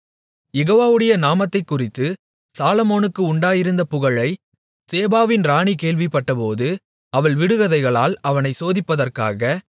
யெகோவாவுடைய நாமத்தைக்குறித்து சாலொமோனுக்கு உண்டாயிருந்த புகழை சேபாவின் ராணி கேள்விப்பட்டபோது அவள் விடுகதைகளால் அவனைச் சோதிப்பதற்காக